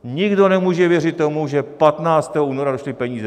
Nikdo nemůže věřit tomu, že 15. února došly peníze.